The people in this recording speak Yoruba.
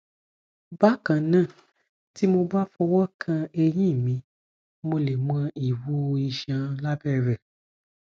bákan náà tí mo bá fọwọ kan ẹyin mi mo lè mọ ìwú iṣan lábẹ rẹ